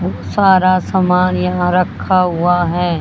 सारा सामान यहां रखा हुआ है।